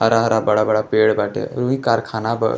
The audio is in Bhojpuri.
हरा-हरा बड़ा-बड़ा पेड़ बाटे। वही कारखाना बा।